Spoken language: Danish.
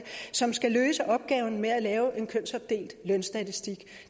som skal løse opgaven med at lave en kønsopdelt lønstatistik